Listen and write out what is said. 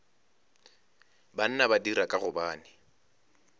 banna ba dira ka gobane